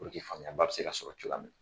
faamuyaba bi se ka sɔrɔ cogoya min na.